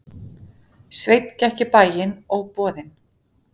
Sveinn gekk í bæinn, óboðinn.